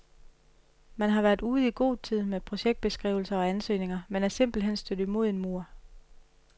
Man har været ude i god tid med projektbeskrivelser og ansøgninger, men er simpelt hen stødt imod en mur.